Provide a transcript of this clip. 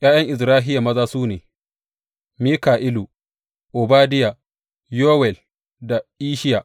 ’Ya’yan Izrahiya maza su ne, Mika’ilu, Obadiya, Yowel da Isshiya.